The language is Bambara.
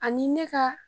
Ani ne ka